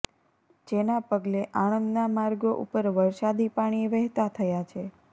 જેના પગલે આણંદના માર્ગો ઉપર વરસાદી પાણી વહેતા થયા છે